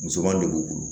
Musoman de b'u bolo